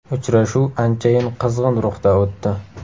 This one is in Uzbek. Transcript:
Uchrashuv anchayin qizg‘in ruhda o‘tdi.